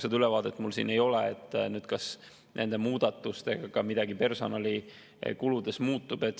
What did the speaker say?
Seda ülevaadet mul siin ei ole, kas nende muudatuste mõjul midagi personalikuludes muutub.